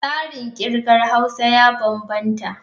Tsarin kirga Haus ya bambanta.